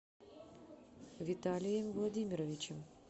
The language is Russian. виталием владимировичем